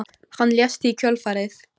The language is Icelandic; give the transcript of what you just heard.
Hann lést í kjölfarið